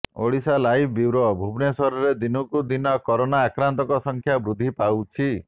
Odisha live bureau ଭୁବନେଶ୍ବରରେ ଦିନକୁ ଦିନ କରୋନା ଆକ୍ରାନ୍ତଙ୍କ ସଂଖ୍ୟା ବୃଦ୍ଧି ପାଉଛି